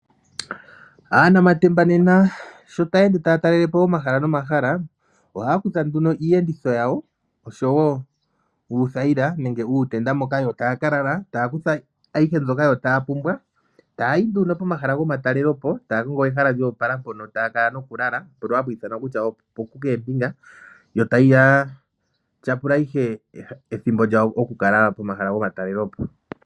Aanamatemba nena sho taya ende taya talele po omahala nomahla, ohaya kutha nduno iiyenditho yawo, osho wo uuthayila nenge uutenda moka yo taya ka lala, taya kutha ayihe mbyoka yo taya pumbwa, taya yi nduno pomahala gomatalelepo taya kongo e hala lyo opala mpoka taya kala nokulala, mpoka hapu ithanwa kutya opo ku yunga oontanda. Taya tyapula ihe ethimbo lyawo lyokukala pomahala gomatalelepo.